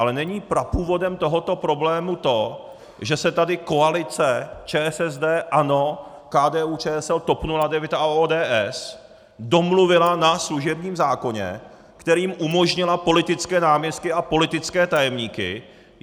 Ale není prapůvodem tohoto problému to, že se tady koalice ČSSD, ANO, KDU-ČSL, TOP 09 a ODS domluvila na služebním zákoně, kterým umožnila politické náměstky a politické tajemníky?